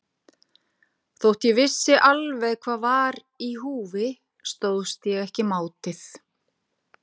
Þótt ég vissi alveg hvað var í húfi stóðst ég ekki mátið.